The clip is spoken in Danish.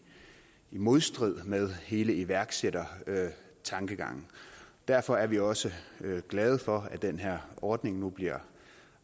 modstrid med hele iværksættertankegangen derfor er vi også glade for at den her ordning nu bliver